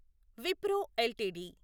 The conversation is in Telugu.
విప్రో ఎల్టీడీ